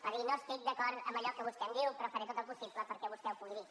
va dir no estic d’acord amb allò que vostè em diu però faré tot el possible perquè vostè ho pugui dir